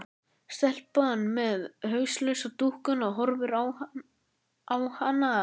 Stelpan með hauslausu dúkkuna horfir á hana.